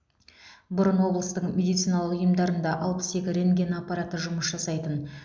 бұрын облыстың медициналық ұйымдарында алпыс екі рентген аппараты жұмыс жасайтын